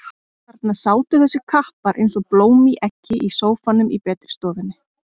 Þarna sátu þessir kappar eins og blóm í eggi í sófanum í betri stofunni.